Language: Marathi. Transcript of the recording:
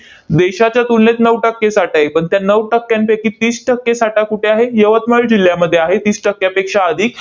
देशाच्या तुलनेत नऊ टक्के साठा आहे. पण त्या नऊ टक्क्यांपैकी तीस टक्के साठा कुठे आहे? यवतमाळ जिल्ह्यामध्ये आहे तीस टक्क्यापेक्षा अधिक.